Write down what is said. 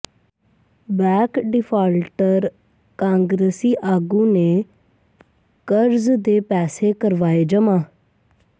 back defaulter ਕਾਂਗਰਸੀ ਆਗੂ ਨੇ ਕਰਜ਼ ਦੇ ਪੈਸੇ ਕਰਵਾਏ ਜਮਾਂ